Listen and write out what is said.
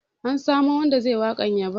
An samo wanda ze yi waƙar yabon